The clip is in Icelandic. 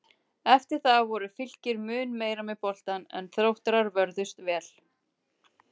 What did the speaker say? Eftir það voru Fylkir mun meira með boltann en Þróttarar vörðust vel.